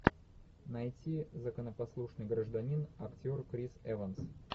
найти законопослушный гражданин актер крис эванс